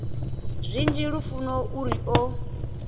zwinzhi lufuno u ri o